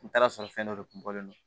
N taara sɔrɔ fɛn dɔ de kun bɔlen don